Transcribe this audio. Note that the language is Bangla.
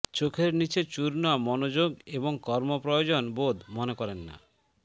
চোখের নিচে চূর্ণ মনোযোগ এবং কর্ম প্রয়োজন বোধ করেন না